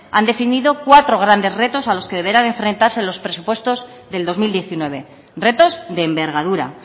han definido cuatro grandes retos a los que deberán enfrentarse en los presupuestos del dos mil diecinueve retos de envergadura